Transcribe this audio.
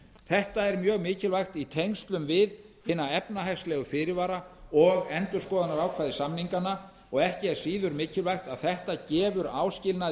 þetta er mjög mikilvægt í tengslum við hina efnahagslegu fyrirvara og endurskoðunarákvæði samninganna og ekki er síður mikilvægt að þetta gefur áskilnaði